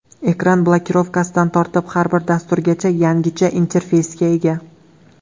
Ekran blokirovkasidan tortib har bir dasturgacha yangicha interfeysga ega.